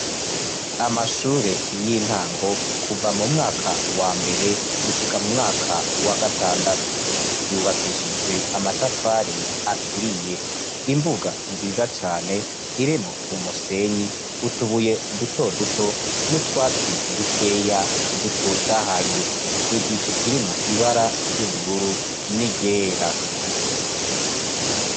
Amashure y'intango kuva m'umwaka wambere gushika m'umwaka wa gatandatu yubakishijwe amatafari aturiye. Imbuga nziza cane irimwo umusenyi utubuye dutoduto n'utwatsi dukeya dutotahaye, igicu kirimwo ibara ry'ubururu n'iryera.